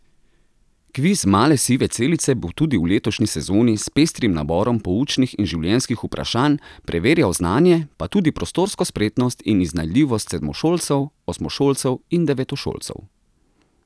Kviz Male sive celice bo tudi v letošnji sezoni s pestrim naborom poučnih in življenjskih vprašanj preverjal znanje, pa tudi prostorsko spretnost in iznajdljivost sedmošolcev, osmošolcev in devetošolcev.